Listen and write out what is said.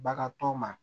Bagan tɔ ma